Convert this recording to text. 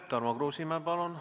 Tarmo Kruusimäe, palun!